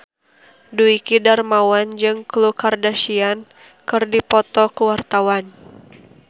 Dwiki Darmawan jeung Khloe Kardashian keur dipoto ku wartawan